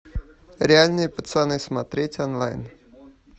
реальные пацаны смотреть онлайн